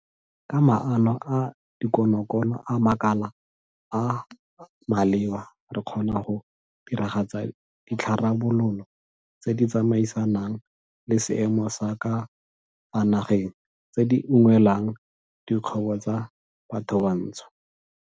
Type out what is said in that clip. Ka maano a dikonokono a makala a a maleba re kgona go diragatsa ditharabololo tse di tsamaisanang le seemo sa ka fa nageng tse di unngwelang dikgwebo tsa bathobantsho.